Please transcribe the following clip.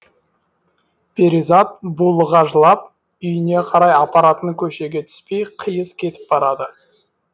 перизат булыға жылап үйіне қарай апаратын көшеге түспей қиыс кетіп барады